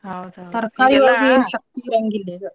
ತರಕಾರಿ ಒಳಗು ಏನ್ ಶಕ್ತಿ ಇರಂಗಿಲ್ಲ ಈಗ.